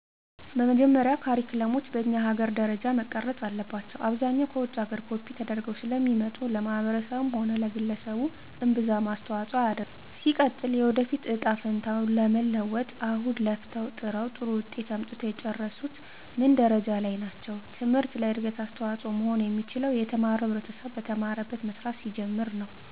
በመጀመሪያ ካሪክለሞች በኛ ሀገር ደረጃ መቀረፅ አለባቸው። አብዛኛው ከውጭ ሀገር ኮፒ ተደርገው ስለሚመጡ ለማህበረሰቡም ሆነ ለግለሰቡ እምብዛም አስተዋፅሆ አያደርግም። ሲቀጥል የወደፊት እጣ ፈንታውን ለመለወጥ አሁን ለፍተው ጥረው ጥሩ ውጤት አምጥተው የጨረሱት ምን ደረጃ ላይ ናቸው ትምህርት ለእድገት አስተዋፅሆ መሆን የሚችለው የተማረው ህብረተሰብ በተማረበት መስራት ሲጀምር ነው።